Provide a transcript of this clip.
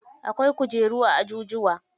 Akwai kujeru a ajujuwa.